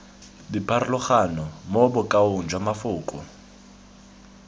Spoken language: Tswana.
dipharologano mo bokaong jwa mafoko